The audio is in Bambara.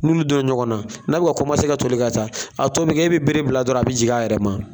N'u bi don ɲɔgɔnna n'a bi ka ka toli ka taa a tɔ bi kɛ e bi kɛ bere bila dɔrɔn a bi jigin a yɛrɛ ma